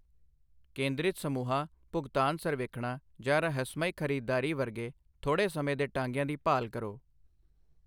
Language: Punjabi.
ਕੇਦਰਿਤ ਸਮੂੂਹਾਂ, ਭੁਗਤਾਨ ਸਰਵੇਖਣਾਂ ਜਾਂ ਰਹੱਸਮਈ ਖਰੀਦਦਾਰੀ ਵਰਗੇ ਥੋੜ੍ਹੇ ਸਮੇਂ ਦੇ ਟਾਂਗਿਆਂ ਦੀ ਭਾਲ ਕਰੋ।